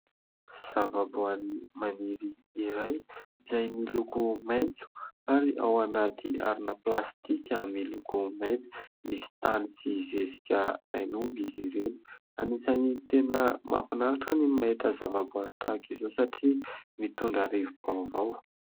Zavaboary maniry iray izay miloko maitso ary ao anaty harona plastika miloko maitso. Misy tany sy zezika tain'omby izy ireo. Anisany tena mahafinaritra ny mahita zavaboary tahak'izao satria mitondra rivo-baovao.